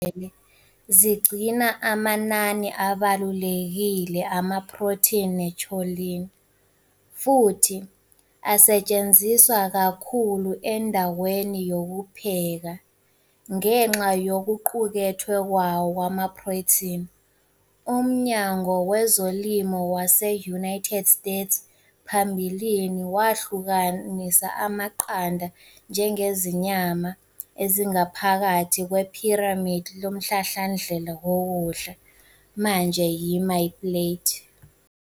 Izikhupha zamaqanda namaqanda aphelele zigcina amanani abalulekile amaprotheni ne-choline, futhi asetshenziswa kakhulu endaweni yokupheka. Ngenxa yokuqukethwe kwawo kwamaprotheni, uMnyango Wezolimo wase-United States phambilini wahlukanisa amaqanda njengezinyama ezingaphakathi kwePhiramidi Lomhlahlandlela Wokudla, manje eyi-MyPlate.